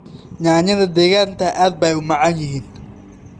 Yaanyada deegaanka aad bay u macaan yihiin.